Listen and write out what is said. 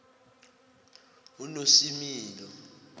unosimilo